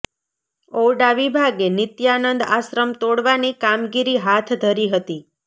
ઔડા વિભાગે નિત્યાનંદ આશ્રમ તોડવાની કામગીરી હાથ ધરી હતી